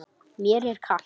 Mér er kalt.